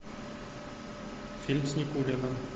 фильм с никулиным